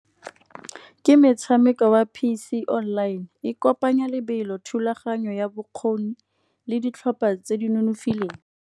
Ke metshameko wa P_C online e kopanya lebelo thulaganyo ya bokgoni le ditlhopa tse di nonofileng.